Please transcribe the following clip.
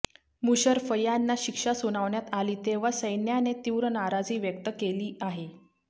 मुशर्रफ यांना शिक्षा सुनावण्यात आली तेव्हा सैन्याने तीव्र नाराजी व्यक्त केली आहे